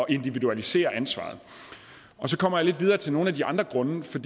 at individualisere ansvaret og så kommer jeg lidt videre til nogle af de andre grunde for